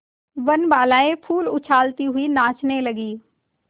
वनबालाएँ फूल उछालती हुई नाचने लगी